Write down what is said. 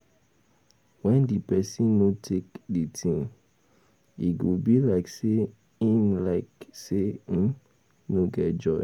When di person no take di thing, e go be like sey im no get joy